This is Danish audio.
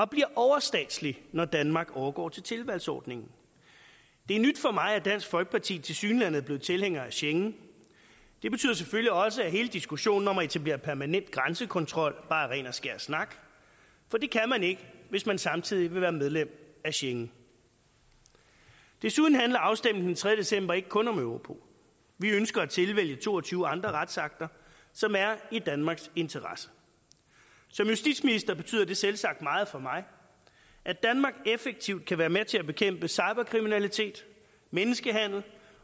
bliver overstatsligt når danmark overgår til tilvalgsordningen det er nyt for mig at dansk folkeparti tilsyneladende er blevet tilhængere af schengen det betyder selvfølgelig også at hele diskussionen om at etablere permanent grænsekontrol bare er ren og skær snak for det kan man ikke hvis man samtidig vil være medlem af schengen desuden handler afstemningen den tredje december ikke kun om europol vi ønsker at tilvælge to og tyve andre retsakter som er i danmarks interesse som justitsminister betyder det selvsagt meget for mig at danmark effektivt kan være med til at bekæmpe cyberkriminalitet menneskehandel